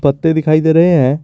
पत्ते दिखाई दे रहे हैं।